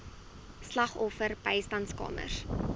slagoffer bystandskamers